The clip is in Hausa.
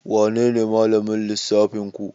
Wanene malamin lissafinku?